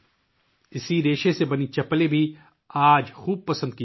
اس fibre سے بنی چپل بھی آج کل بہت پسند کی جارہی ہے